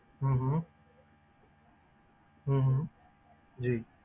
ਹਮ ਹਮ ਹਮ ਜੀ।